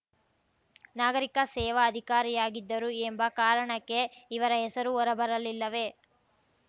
ನಾಗರಿಕ ಸೇವಾ ಅಧಿಕಾರಿಯಾಗಿದ್ದರು ಎಂಬ ಕಾರಣಕ್ಕೆ ಇವರ ಹೆಸರು ಹೊರಬರಲಿಲ್ಲವೇ